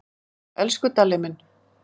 Elsku Dalli minn.